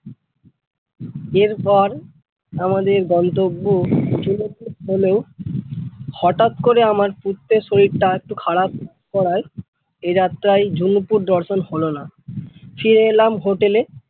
এরপর আমাদের গন্তব্য ঝুনু পুর হলেও হঠাৎ করে আমার পুত্রের শরীরটা একটু খারাপ করাই এ যাত্রায় আমাদের ঝুনু পুর দর্শন হলো না ফিরে এলাম hotel এ।